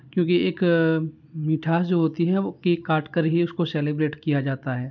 क्योंकि एक अ मिठास जो होती वो केक काट कर ही उसको सेलिब्रेट किया जाता है।